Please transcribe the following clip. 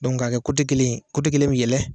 k'a kɛ kelen ye, kelen be yɛlɛn